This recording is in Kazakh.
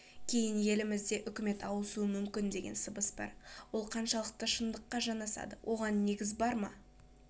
кейін елімізде үкімет ауысуы мүмкін деген сыбыс бар ол қаншалықты шындыққа жанасады оған негіз бар ма